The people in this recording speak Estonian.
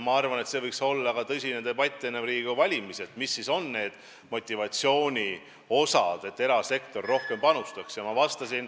Ma arvan, et see võiks olla tõsise debati teema enne Riigikogu valimisi, mis ikkagi võiks olla see motivatsioon, et erasektor rohkem panustaks.